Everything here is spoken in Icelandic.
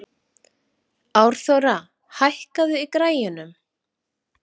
Árþóra, hækkaðu í græjunum.